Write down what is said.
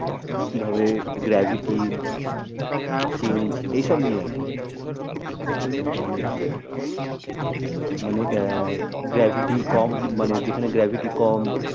কি ভাবে gravity change ই সব নিয়ে আর কি। মানে মানে আহ gravity কম মানে যেখানে gravity কম